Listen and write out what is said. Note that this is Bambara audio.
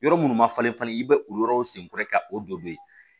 Yɔrɔ minnu ma falen falen i bɛ o yɔrɔw sen kɔrɔ ka o don yen